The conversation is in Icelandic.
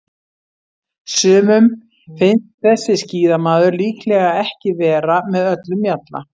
Sumum finnst þessi skíðamaður líklega ekki vera með öllum mjalla.